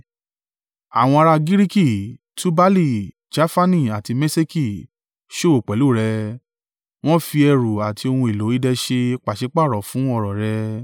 “ ‘Àwọn ará Giriki, Tubali, Jafani àti Meṣeki, ṣòwò pẹ̀lú rẹ, wọ́n fi ẹrù àti ohun èlò idẹ ṣe pàṣípàrọ̀ fún ọrọ̀ rẹ.